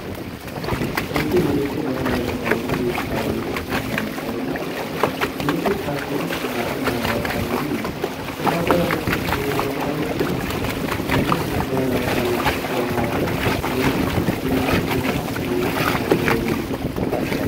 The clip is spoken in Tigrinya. ሓንቲ መንእሰይ ባህላዊ ክዳን ኢትዮጵያ ወይ ኤርትራዊ ክዳን ተኸዲና ትርከብ። ምልክት ፋሽንን ጽባቐን ባህላዊ ሓበንን እዩ። እታ ጓል ኣንስተይቲ ዘመናዊ ክዳውንቲ (ጂንስ) ምስ ባህላዊ ክዳውንቲ ዝተዋሃሃደት ኮይና፡ ንብዙሕ ሸነኻት ናይቲ ክዳን ዘርኢ እዩ።